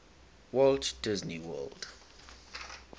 walt disney world